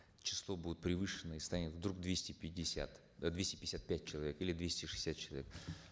число будет превышено и станет вдруг двести пятьдесят двести пятьдесят пять человек или двести шестьдесят человек